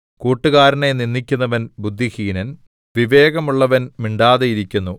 കൂട്ടുകാരനെ നിന്ദിക്കുന്നവൻ ബുദ്ധിഹീനൻ വിവേകമുള്ളവൻ മിണ്ടാതിരിക്കുന്നു